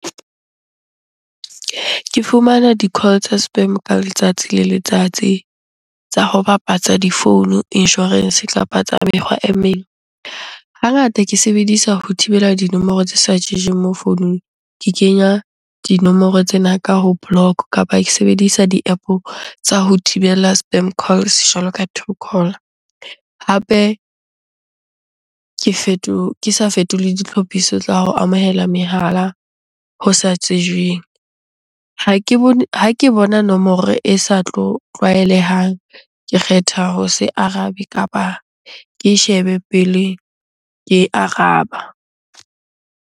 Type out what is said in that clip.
Ke fumana di-call tsa spam ka letsatsi le letsatsi tsa ho bapatsa di-phone, insurance kapa tsa mekgwa e meng. Hangata ke sebedisa ho thibela dinomoro tse sa mo founung. Ke kenya dinomoro tsena ka ho block kapa ke sebedisa di-App-o tsa ho thibela spam calls jwalo ka truecaller. Hape ke ke sa fetole ditlhophiso tsa ho amohela mehala ho sa tsejweng. Ha ke bone, ha ke bona nomoro e sa tlo tlwaelehang. Ke kgetha ho se arabe kapa ke shebe pele ke e araba.